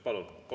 Palun!